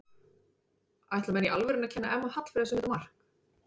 Ætla menn í alvörunni að kenna Emma Hallfreðs um þetta mark?